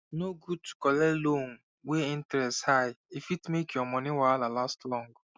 no good to collect loan wey interest high e fit make your money wahala last long